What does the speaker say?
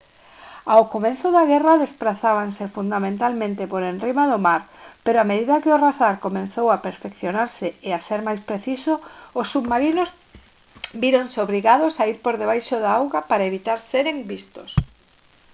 ao comezo da guerra desprazábanse fundamentalmente por enriba do mar pero a medida que o radar comezou a perfeccionarse e ser máis preciso os submarinos víronse obrigados a ir por debaixo da auga para evitar seren vistos